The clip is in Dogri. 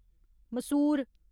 मसूर